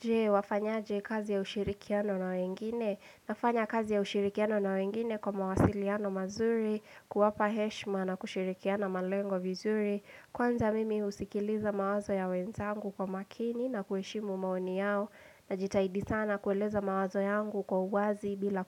Je wafanyaje kazi ya ushirikiano na wengine nafanya kazi ya ushirikiano na wengine kwa mawasiliano mazuri kuwapa heshima na kushirikiana malengo vizuri Kwanza mimi husikiliza mawazo ya wenzangu kwa makini na kuheshimu maoni yao najitaidi sana kueleza mawazo yangu kwa uwazi bila